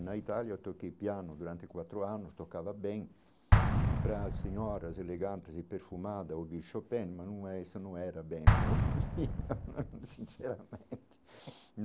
Na Itália eu toquei piano durante quatro anos, tocava bem para as senhoras elegantes e perfumada ou de Chopin, mas não é essa não era bem o meu, sinceramente.